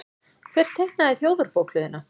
Hver teiknaði Þjóðarbókhlöðuna?